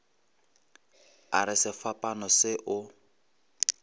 a re sefapano se o